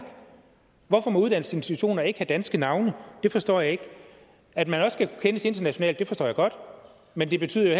hvorfor må uddannelsesinstitutioner ikke have danske navne det forstår jeg ikke at man også skal kendes internationalt forstår jeg godt men det betyder jo